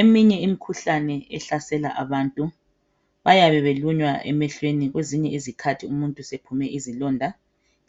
Eminye imikhuhlane ehlasela abantu bayebe belunywa emehlweni kwezinye izikhathi umuntu sephume izilonda